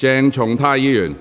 鄭松泰議員，請坐下。